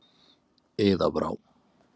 Iða Brá.